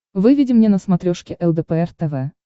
выведи мне на смотрешке лдпр тв